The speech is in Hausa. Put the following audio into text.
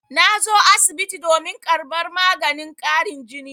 Na zo asibiti domin karɓar maganin ƙarin jini.